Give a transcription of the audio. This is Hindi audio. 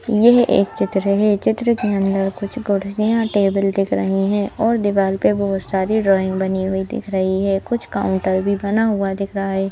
यह एक चित्र है चित्र के अंदर कुछ कुर्सियां टेबल देख रहे हैं और दीवाल पे बहोत सारी ड्राइंग बनी हुई दिख रही है कुछ काउंटर भी बना हुआ दिख रहा है।